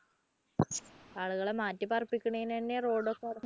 ആളുകളെ മാറ്റി പാർപ്പിക്കുന്നതിന് തന്നെ road ഒക്കെ